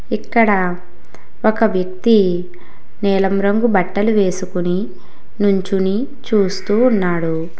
ఇక్కడ ఒక వ్యక్తి నీలం రంగు బట్టలు వేసుకుని నుంచుని చూస్తూ ఉన్నాడు.